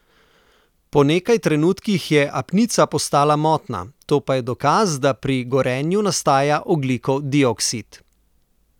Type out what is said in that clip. Po nekaj trenutkih je apnica postala motna, to pa je dokaz, da pri gorenju nastaja ogljikov dioksid.